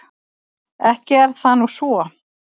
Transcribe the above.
Ekki er það nú svo.